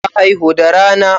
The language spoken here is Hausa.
Ta haihu da rana.